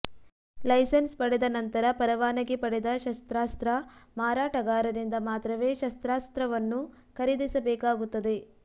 licence ಪಡೆದ ನಂತರ ಪರವಾನಗಿ ಪಡೆದ ಶಸ್ತ್ರಾಸ್ತ್ರ ಮಾರಾಟಗಾರರಿಂದ ಮಾತ್ರವೇ ಶಸ್ತ್ರಾಸ್ತ್ರವನ್ನು ಖರೀದಿಸಬೇಕಾಗುತ್ತದೆ